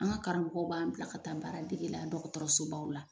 An ka karamɔgɔw b'an bila ka taa baara dege la dɔgɔtɔrɔso baw la.